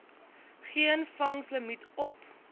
geen vangslimiet op